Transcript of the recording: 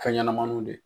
Fɛn ɲɛnɛmaninw de